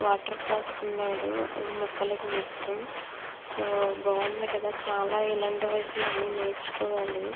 Water పోస్తున్నాడు మొక్కలకి మొత్తం. సో బాగుంది కదా చాలా ఇలాంటి వయసులో అన్నీ నేర్చుకోవాలి.